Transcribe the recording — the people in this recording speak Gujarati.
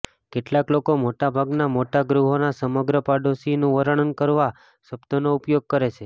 કેટલાક લોકો મોટાભાગના મોટા ગૃહોના સમગ્ર પડોશીનું વર્ણન કરવા શબ્દનો ઉપયોગ કરે છે